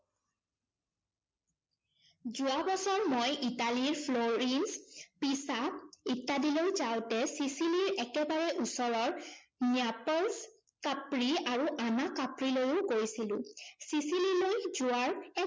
যোৱা বছৰ মই ইটালীৰ ফ্লৰিন্স পিচা ইত্যাদিলৈ যাওঁতে ছিছিলিৰ একেবাৰে ওচৰৰ ন্য়াপলচ কাপ্ৰি আৰু আনা কাপ্ৰিলৈও গৈছিলো। ছিছিললৈ যোৱাৰ